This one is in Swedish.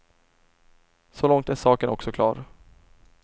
Så långt är saken också klar.